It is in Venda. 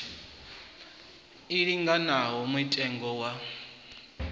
i linganaho na mutengo wa